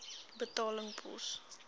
betaling pos